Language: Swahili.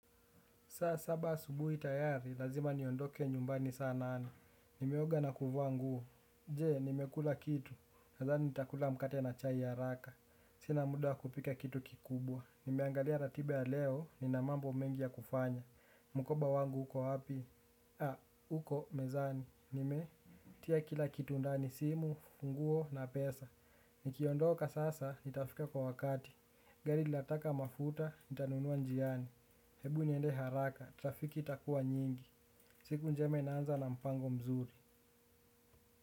Saa saba asubuhi tayari, lazima niondoke nyumbani saa nane. Nimeoga na kuvaa nguo. Je, nimekula kitu. Nadhani nitakula mkate na chai haraka. Sina muda wa kupika kitu kikubwa. Nimeangalia ratiba ya leo, nina mambo mengi ya kufanya. Mkoba wangu uko wapi? Uko, mezani. Nimetia kila kitu ndani simu funguo na pesa. Nikiondoka sasa, nitafika kwa wakati. Gari lataka mafuta nitanunua njiani. Hebu niende haraka, trafiki itakuwa nyingi. Siku njema inaanza na mpango mzuri.